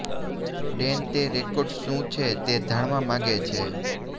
ડેન તે રેકોર્ડ્સ શું છે તે જાણવા માગે છે